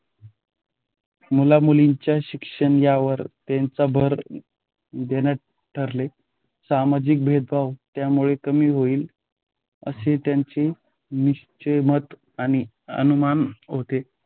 मुलामुलींच्या शिक्षण यावर त्यांचा भर देण्याचे ठरवले. सामाजिक भेदभाव त्यामुळे कमी होईल असे त्यांचे निश्‍चित मत आणि अनुमान होते.